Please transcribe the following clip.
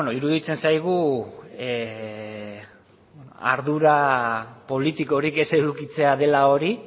iruditzen zaigu ardura politikorik ez edukitzea dela hori